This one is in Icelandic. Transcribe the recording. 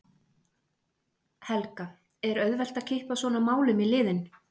Helga: Er auðvelt að kippa svona málum í liðinn?